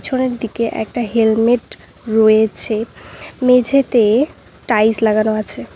পিছনের দিকে একটা হেলমেট রয়েছে মেঝেতে টাইলস লাগানো আছে।